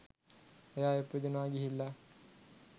එයා ඉපදුනා ගිහිල්ලා